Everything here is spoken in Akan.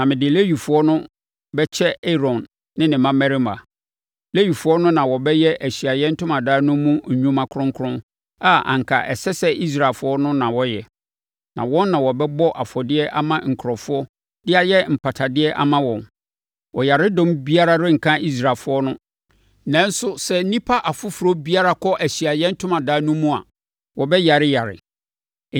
Na mede Lewifoɔ no bɛkyɛ Aaron ne ne mmammarima. Lewifoɔ no na wɔbɛyɛ Ahyiaeɛ Ntomadan no mu nnwuma kronkron a anka ɛsɛ sɛ Israelfoɔ no na wɔyɛ, na wɔn na wɔbɛbɔ afɔdeɛ ama nkurɔfoɔ de ayɛ mpatadeɛ ama wɔn. Ɔyaredɔm biara renka Israelfoɔ no, nanso sɛ nnipa afoforɔ biara kɔ Ahyiaeɛ Ntomadan no mu a, wɔbɛyareyare.”